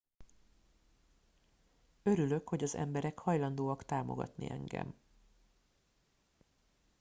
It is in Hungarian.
örülök hogy az emberek hajlandóak támogatni engem